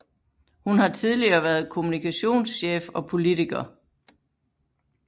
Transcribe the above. Hun har tidligere været kommunikationschef og politiker